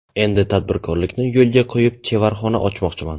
Endi tadbirkorlikni yo‘lga qo‘yib, chevarxona ochmoqchiman.